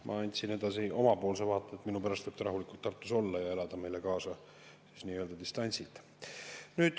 Ma andsin edasi oma vaate: minu pärast võib ta rahulikult Tartus olla ja elada meile kaasa nii-öelda distantsilt.